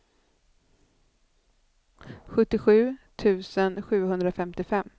sjuttiosju tusen sjuhundrafemtiofem